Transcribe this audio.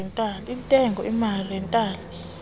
entengo emali retail